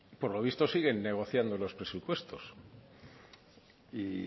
por lo visto siguen negociando los presupuestos y